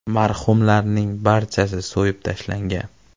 Marhumlarning barchasi so‘yib tashlangan.